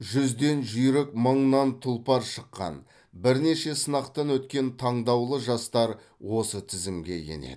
жүзден жүйрік мыңнан тұлпар шыққан бірнеше сынақтан өткен таңдаулы жастар осы тізімге енеді